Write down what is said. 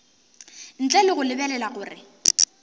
ntle le go lebelela gore